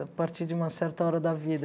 A partir de uma certa hora da vida.